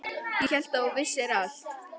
Ég hélt að þú vissir allt.